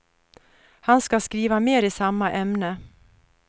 Han skall skriva mer i samma ämne.